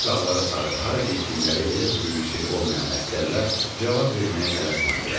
Üzü dağlara sarı hara getdikləri elə də böyük sirr olmayan əsgərlər cavab verməyə tələsmədilər.